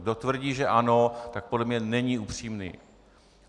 Kdo tvrdí že ano, tak podle mě není upřímný.